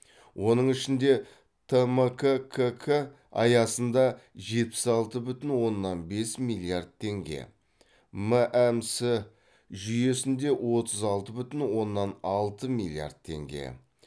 оның ішінде тмккк аясында жетпіс алты бүтін оннан бес миллиард теңге мәмс жүйесінде отыз алты бүтін оннан алты миллиард теңге